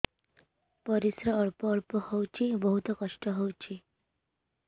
ପରିଶ୍ରା ଅଳ୍ପ ଅଳ୍ପ ହଉଚି ବହୁତ କଷ୍ଟ ହଉଚି